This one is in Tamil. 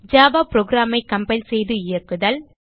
ஜாவா programஐ கம்பைல் செய்து இயக்குதல்